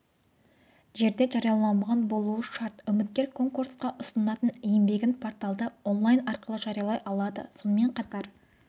жерде жарияланбаған болуы шарт үміткер конкурсқа ұсынатын еңбегін порталда онлайн арқылы жариялай алады сонымен қатар